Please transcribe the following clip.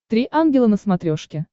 три ангела на смотрешке